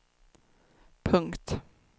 punkt